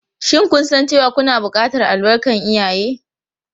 Shin kun san cewa kuna buƙatar albarkar iyaye?